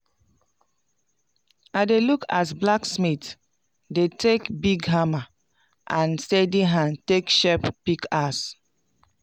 i dey look as blacksmith dey take big hammer and steady hand take shape pickaxe